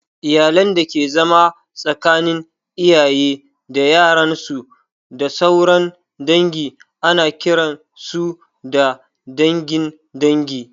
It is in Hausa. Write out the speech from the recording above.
Iyalan dake zama tsakanin iyaye da yaran su, da sauran dangi, ana kiran su da dangin dangin